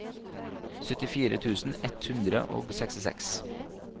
syttifire tusen ett hundre og sekstiseks